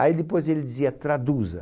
Aí depois ele dizia traduza.